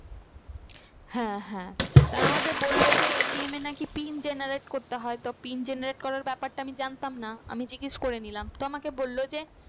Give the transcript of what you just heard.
হ্যাঁ হ্যাঁ তার মধ্যে বললো যে ATM এর নাকি PIN generate করতে হয়। তো PIN generate করার ব্যাপারটা আমি জানতাম না আমি জিজ্ঞেস করে নিলাম তো আমাকে বললো যে